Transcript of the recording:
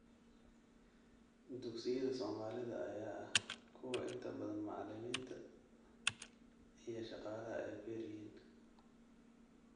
Dugsiyada Soomaalida ayaa ah kuwo inta badan macilinta iyo shaqalaha ay kuyaryihin